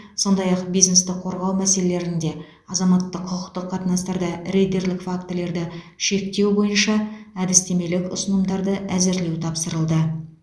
сондай ақ бизнесті қорғау мәселелерінде азаматтық құқықтық қатынастарда рейдерлік фактілерді шектеу бойынша әдістемелік ұсынымдарды әзірлеу тапсырылды